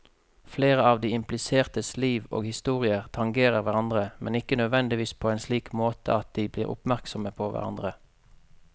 Flere av de implisertes liv og historier tangerer hverandre, men ikke nødvendigvis på en slik måte at de blir oppmerksomme på hverandre.